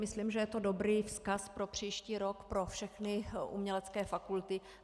Myslím, že je to dobrý vzkaz pro příští rok pro všechny umělecké fakulty.